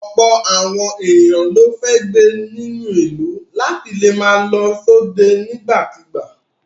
Ọ̀pọ̀ àwọn ènìyàn ló fẹ́ gbé inú ìlú láti lè máa lọ sóde nígbà kigbà.